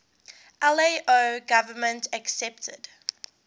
lao government accepted